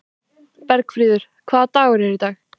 Bergfríður, hvaða dagur er í dag?